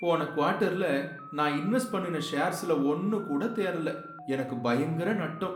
போன குவார்ட்டர்ல நான் இன்வெஸ்ட் பண்ணுன ஷேர்ஸ்ல ஒன்னு கூட தேறல, எனக்கு பயங்கர நட்டம்!